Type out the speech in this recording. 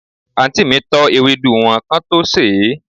anti mi tọ́ ewédú wọn kán tó sèé.